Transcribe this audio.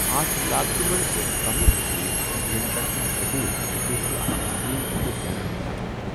اَتھ لاگتہِ منٛز کمی چھِ ییٚمہِ کَتھِ ہُنٛد ثوبوٗت زِ تُہۍ چھِو اکھ تسلیم شدہ برانڈ بناوان۔